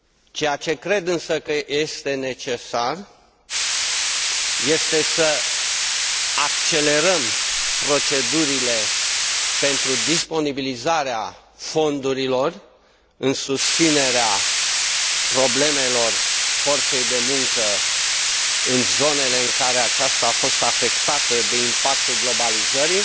Ceea ce cred, însă, că este necesar este să accelerăm procedurile pentru disponibilizarea fondurilor în susținerea problemelor forței de muncă în zonele în care aceasta a fost afectată de impactul globalizării,